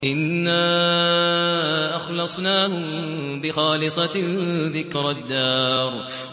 إِنَّا أَخْلَصْنَاهُم بِخَالِصَةٍ ذِكْرَى الدَّارِ